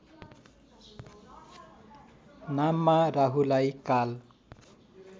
नाममा राहुलाई काल